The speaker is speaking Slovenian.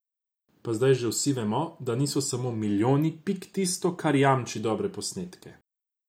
Pa zdaj že vsi vemo, da niso samo milijoni pik tisto, kar jamči dobre posnetke.